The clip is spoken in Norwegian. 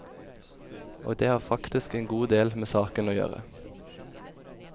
Og det har faktisk en god del med saken å gjøre.